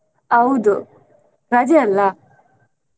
ಹೌದು ರಜೆ ಅಲ್ಲಾ?